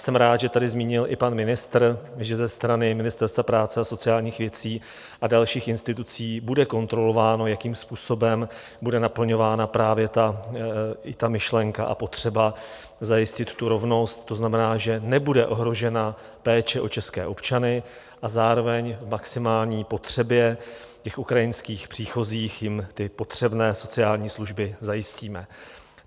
Jsem rád, že tady zmínil i pan ministr, že ze strany Ministerstva práce a sociálních věcí a dalších institucí bude kontrolováno, jakým způsobem bude naplňována právě i ta myšlenka a potřeba zajistit tu rovnost, to znamená, že nebude ohrožena péče o české občany, a zároveň k maximální potřebě těch ukrajinských příchozích jim ty potřebné sociální služby zajistíme.